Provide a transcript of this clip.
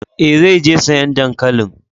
Eh, zai je sayan dankalin.